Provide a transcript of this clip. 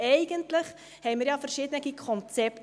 Eigentlich haben wir ja verschiedene Konzepte.